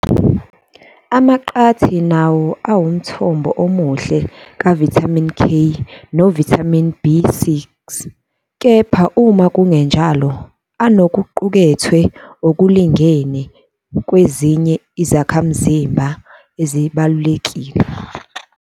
Amaqathi nawo awumthombo omuhle kavithamini K novithamini B6, kepha uma kungenjalo anokuqukethwe okulingene kwezinye izakhamzimba ezibalulekile.